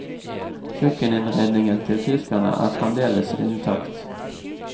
Kjøkkeninnredningen til tyskerne er fremdeles intakt.